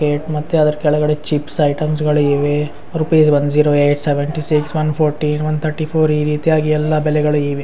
ಮತ್ತೆ ಅದ್ರ ಕೆಳಗಡೆ ಚಿಪ್ಸ್ ಐಟಮ್ಸ್ ಗಳಿವೆ rupees one zero eight seventy six one fourteen one thirty four ಈ ರೀತಿಯಾಗಿ ಎಲ್ಲಾ ಬಳೆಗಳಿವೆ .